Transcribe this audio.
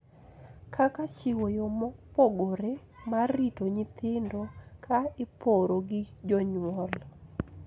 Kaka chiwo yo mopogore mar rito nyithindo ka iporo gi jonyuol,